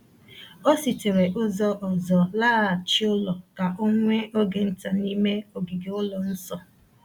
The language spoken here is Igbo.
O sitere ụzọ ọzọ laghachi ụlọ ka o nwee oge nta n’ime ogige ụlọ nsọ.